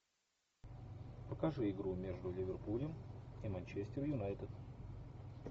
покажи игру между ливерпулем и манчестер юнайтед